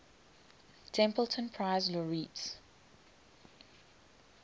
templeton prize laureates